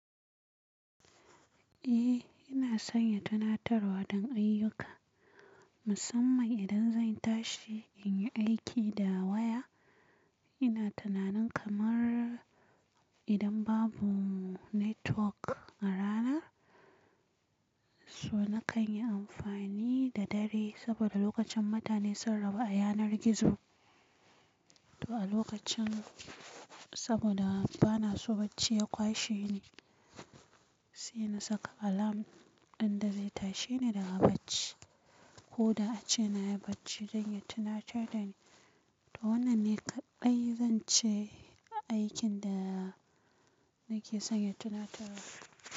Eh ina son ya tunatar wa don ayyuka, musamman idan zan tashi in yi aiki da waya. Ina tunanin kamar idan babu network a rana, so na kan yi amfani da dare saboda lokacin mutane sun rabu a yanar gizo. To a lokacin saboda bana so bacci ya kwashe ni, sai na saka alarm ɗin da zai tashe ni daga bacci ko da ace na yi bacci don ya tunatar da ni. To wannan ne kaɗai zance aikin da nake son ya tunatar da ni.